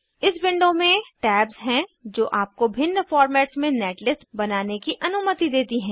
इस विंडो में टैब्स हैं जो आपको भिन्न फॉर्मेट्स में नेटलिस्ट बनाने की अनुमति देती है